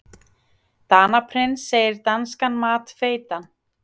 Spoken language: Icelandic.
Danaprins segir danskan mat feitan